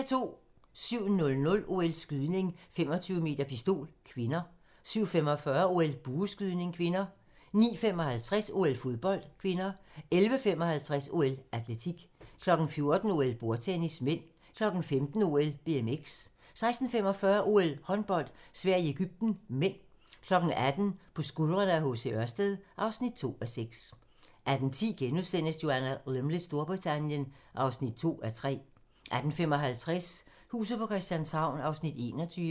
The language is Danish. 07:00: OL: Skydning, 25m pistol (k) 07:45: OL: Bueskydning (k) 09:55: OL: Fodbold (k) 11:55: OL: Atletik 14:00: OL: Bordtennis (m) 15:00: OL: BMX 16:45: OL: Håndbold - Sverige-Egypten (m) 18:00: På skuldrene af H.C. Ørsted (2:6) 18:10: Joanna Lumleys Storbritannien (2:3)* 18:55: Huset på Christianshavn (21:84)